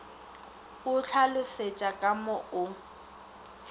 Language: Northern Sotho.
o ntlhalošetša ka mo o